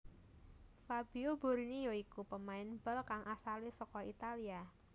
Fabio Borini ya iku pemain bal kang asalé saka Italia